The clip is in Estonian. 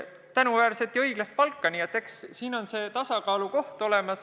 Siin tuleb leida see tasakaalukoht.